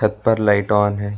छत पर light on है।